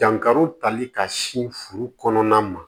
Dankari tali ka sin furu kɔnɔna ma